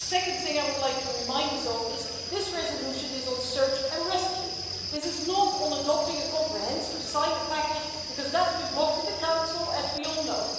The second thing I would like to remind us of is that this resolution is on search and rescue. This is not on adopting a comprehensive asylum package because that's been blocked in the Council, as we all know.